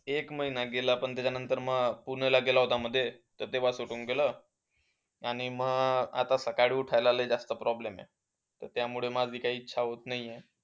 एक महिना गेलं. पण त्याच्यानंतर पूर्ण गेला होतं मध्ये, तेव्हा सोडून गेलं. आणि मग आता सकाळी उठायला जास्त लय problem आहे. तर त्यामुळे माझी काही इच्छा होतं नाही आहे.